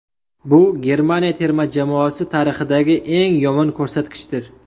Bu Germaniya terma jamoasi tarixidagi eng yomon ko‘rsatkichdir.